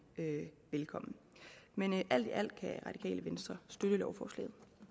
velkommen men alt i alt kan radikale venstre støtte lovforslaget